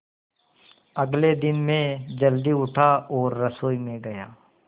अगले दिन मैं जल्दी उठा और रसोई में गया